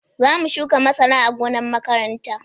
Za mu shuka masara a gonar makaranta